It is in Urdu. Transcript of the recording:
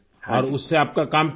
اور اس سے آپ کا کام چل گیا